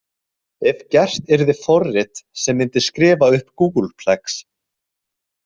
Ef gert yrði forrit sem myndi skrifa upp googolplex.